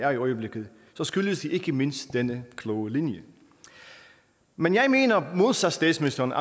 er i øjeblikket så skyldes det ikke mindst denne kloge linje men jeg mener modsat statsministeren